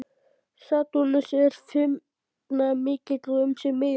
Satúrnus er firnamikill um sig miðjan.